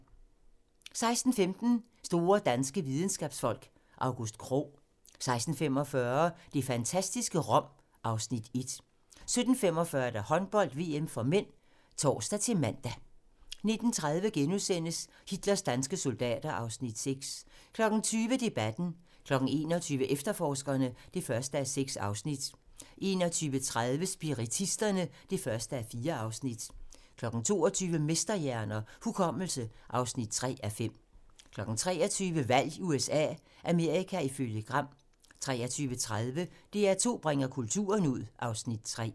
16:15: Store danske videnskabsfolk: August Krogh 16:45: Det fantastiske Rom (Afs. 1) 17:45: Håndbold: VM (m) (tor-man) 19:30: Hitlers danske soldater (Afs. 4)* 20:00: Debatten 21:00: Efterforskerne (1:6) 21:30: Spiritisterne (1:4) 22:00: Mesterhjerner - Hukommelse (3:5) 23:00: Valg i USA - Amerika ifølge Gram 23:30: DR2 bringer kulturen ud (Afs. 3)